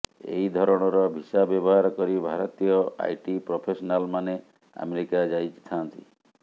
ଏହି ଧରଣର ଭିସା ବ୍ୟବହାର କରି ଭାରତୀୟ ଆଇଟି ପ୍ରଫେସନାଲମାନେ ଆମେରିକା ଯାଇଥାଆନ୍ତି